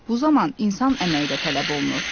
Bu zaman insan əməyi də tələb olunur.